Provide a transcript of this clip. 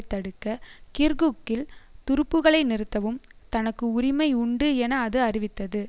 தடுக்க கிர்குக்கில் துருப்புகளை நிறுத்தவும் தனக்கு உரிமை உண்டு என அது அறிவித்தது